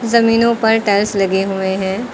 जमीनों पर टाइल्स लगे हुए हैं।